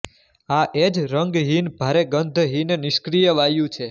આ એજ રગહીન ભારે ગંધહીન નિષ્ક્રીય વાયુ છે